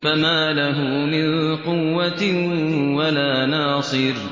فَمَا لَهُ مِن قُوَّةٍ وَلَا نَاصِرٍ